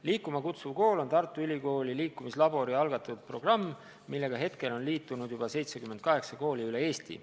"Liikuma kutsuv kool" on Tartu Ülikooli liikumislabori algatatud programm, millega on liitunud juba 78 kooli üle Eesti.